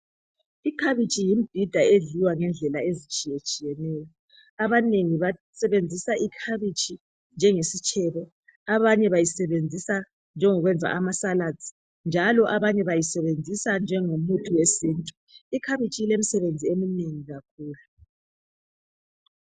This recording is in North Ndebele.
Ikhabitshi yimbhida edliwa ngendlela ezitshiyetshiyeneyo , abanengi basebenzisa ikhabitshi njengesitshebo , abanye bayisebenzisa njengokwenza ama salads njalo abanye bayisebenzisa njengomuthi wesintu , ikhabitshi ilemsebenzi eminengi kakhulu